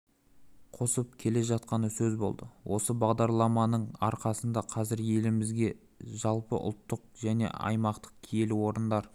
қосып келе жатқаны сөз болды осы бағдарламаның арқасында қазір елімізде жалпыұлттық және аймақтық киелі орындар